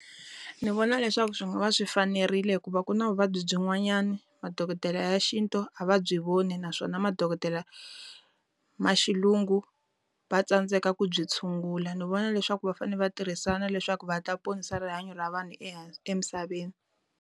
Ndzi vona leswaku swi nga va swi fanerile hikuva ku na vuvabyi byin'wanyana, madokodela ya xintu a va byi voni naswona madokodela ma xilungu va tsandzeka ku byi tshungula. Ndzi vona leswaku va fanele va tirhisana leswaku va ta ponisa rihanyo ra vanhu emisaveni.